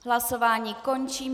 Hlasování končím.